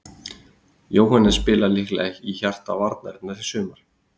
Jóhannes spilar líklega í hjarta varnarinnar í sumar.